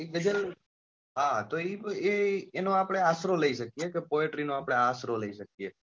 એ ગઝલ હા તો એ ગઝલ એ એનો આપડે આશરો લઇ શકીએ કે poetry નો આપડે આશરો લઇ શકીએ.